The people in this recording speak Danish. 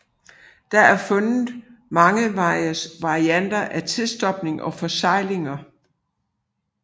Der er fundet mange varianter af tilstopninger og forseglinger